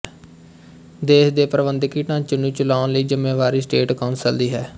ਦੇਸ਼ ਦੇ ਪ੍ਰਬੰਧਕੀ ਢਾਂਚੇ ਨੂੰ ਚਲਾਉਣ ਦੀ ਜ਼ਿੰਮੇਵਾਰੀ ਸਟੇਟ ਕੌਂਸਲ ਦੀ ਹੈ